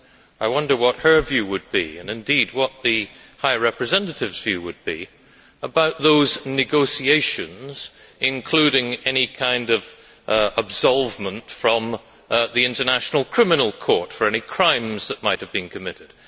I wonder what her view would be, and indeed what the view of the High Representative would be on those negotiations, including any kind of absolvement from the International Criminal Court for any crimes that might have been committed.